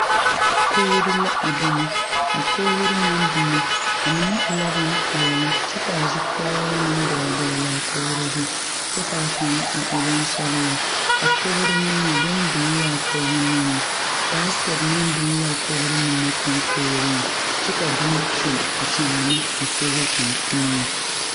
kogre la a bine. A kogre na bine, a mene e la bon piɛle kyɛ ka a zugɔre meŋ doo dogle a kogre zu kyɛ ka kang a e bon sɔglaa. A kogre niŋeɛ, bon biŋ la a kogre niŋe. Baskɛt meŋ biŋ la a kogre mene konkoore. Kyɛ ka bon kyul akyaana a koge ksng niŋe